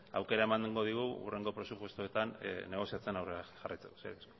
aukera emango digu hurrengo aurrekontuetan negoziatzen aurrera jarraitzeko eskerrik asko